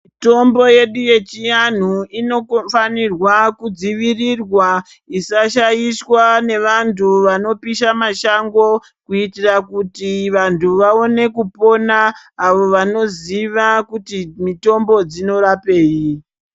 Tombo yedu yechianhu inokofanirwa kudzivirirwa isashaishwa nevantu vanopisha mashango kuitira kuti vantu vaone kupona avo vanoziya kuti mutombo dzinorapei.